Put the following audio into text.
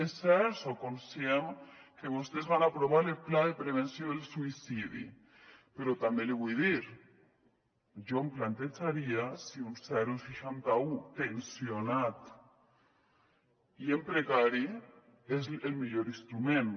és cert soc conscient que vostès van aprovar el pla de prevenció del suïcidi però també l’hi vull dir jo em plantejaria si un seixanta un tensionat i en precari és el millor instrument